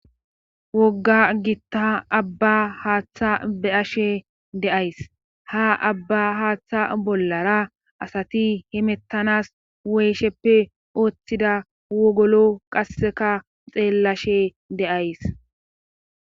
Wogga gitta abba haaththa be ashe deays ha abba haaththa bollara asati himettanas woysheppe ooththida wogolo qasseka xeellashe deays.